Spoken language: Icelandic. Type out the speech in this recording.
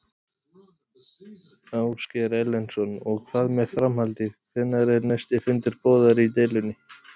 Ásgeir Erlendsson: Og hvað með framhaldið, hvenær er næsti fundur boðaður í deilunni?